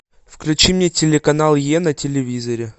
включи мне телеканал е на телевизоре